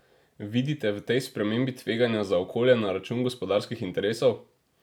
Vidite v tej spremembi tveganja za okolje na račun gospodarskih interesov?